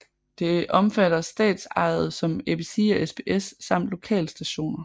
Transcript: Det omfatter statsejede som ABC og SBS samt lokalstationer